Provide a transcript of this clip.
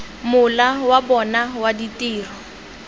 mola wa bona wa ditiro